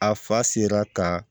A fa sera ka